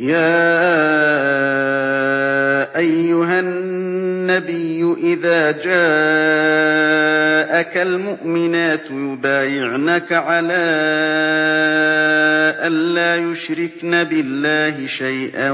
يَا أَيُّهَا النَّبِيُّ إِذَا جَاءَكَ الْمُؤْمِنَاتُ يُبَايِعْنَكَ عَلَىٰ أَن لَّا يُشْرِكْنَ بِاللَّهِ شَيْئًا